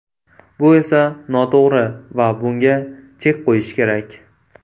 Bu esa noto‘g‘ri va bunga chek qo‘yish kerak.